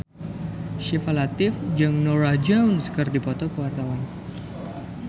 Syifa Latief jeung Norah Jones keur dipoto ku wartawan